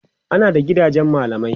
ana da gidajen mallamai